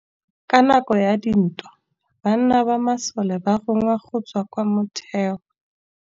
Ka nakô ya dintwa banna ba masole ba rongwa go tswa kwa mothêô.